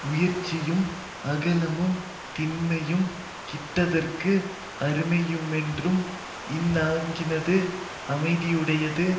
உயர்ச்சியும் அகலமும் திண்மையும் கிட்டுதற்கு அருமையுமென்னும் இந்நான்கினது அமைதியுடையது